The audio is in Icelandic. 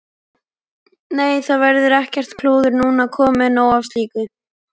Nei, það verður ekkert klúður núna, komið nóg af slíku.